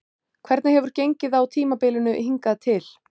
Hvernig hefur gengið á tímabilinu hingað til?